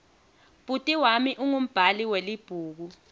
bhuti wami ungumbhali welibhuku